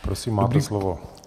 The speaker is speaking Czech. Prosím, máte slovo.